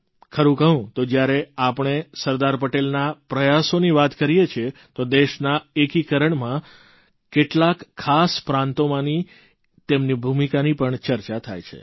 ખરૂં કહું તો જ્યારે આપણે સરદાર પટેલના પ્રયાસોની વાત કરીએ છીએ તો દેશના એકીકરણમાં કેટલાંક ખાસ પ્રાંતોમાંની તેમની ભૂમિકાની પણ ચર્ચા થાય છે